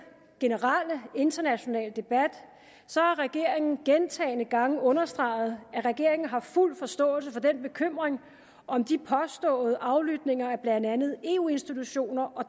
generelle internationale debat har regeringen gentagne gange understreget at regeringen har fuld forståelse for den bekymring om de påståede aflytninger af blandt andet eu institutioner og